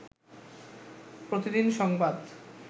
প্রতিদিন সংবাদ